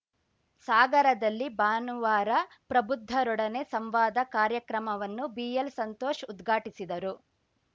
ಸಾಗರದಲ್ಲಿ ಭಾನುವಾರ ಪ್ರಬುದ್ಧರೊಡನೆ ಸಂವಾದ ಕಾರ್ಯಕ್ರಮವನ್ನು ಬಿಎಲ್‌ ಸಂತೋಷ್‌ ಉದ್ಘಾಟಿಸಿದರು